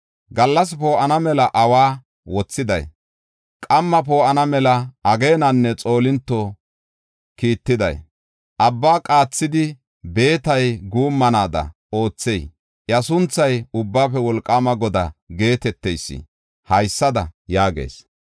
Gallas poo7ana mela awa wothiday, qamma poo7ana mela ageenanne xoolinto kiittiday, abba qaathidi, beetay guummanaada oothey, iya sunthay Ubbaafe Wolqaama Godaa geeteteysi haysada yaagees.